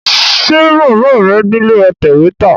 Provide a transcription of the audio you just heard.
Ṣe Bàbá rẹ̀ nílé atẹ̀wẹ́tà?